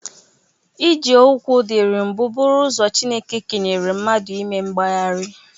Iji ụkwụ dịrị mbụ bụrụ ụzọ Chineke kenyere mnadụ ime mgbaharịa.